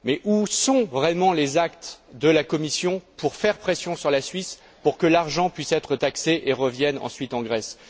Mais où sont réellement les actes de la Commission pour faire pression sur la Suisse, pour que l'argent puisse être taxé et revienne ensuite en Grèce?